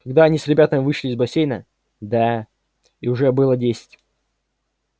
когда он с ребятами вышел из бассейна да и уже было десять